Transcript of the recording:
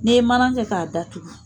N'e ye mana kɛ k'a datugu